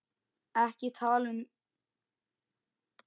EKKI TALA UM